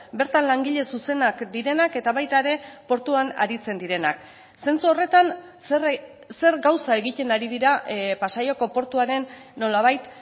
bertan langile zuzenak direnak eta baita ere portuan aritzen direnak zentzu horretan zer gauza egiten ari dira pasaiako portuaren nolabait